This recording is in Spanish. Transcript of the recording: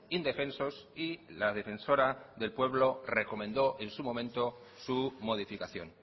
indefensos y la defensora del pueblo recomendó en su momento su modificación